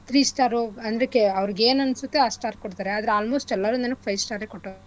Three star ಉ ಅಂದ್ರೆ ಕೆ ಅವ್ರಿಗ್ ಏನ್ ಅನ್ಸುತ್ತೆ ಅಷ್ಟ್ star ಕೊಡ್ತರೆ ಆದ್ರೆ almost ಎಲ್ಲರೂ five star ಎ ಕೊಟ್ಟವ್ರೆ